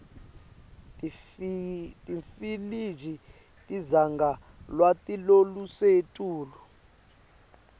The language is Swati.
timfiliji tidzinga lwati lolusetulu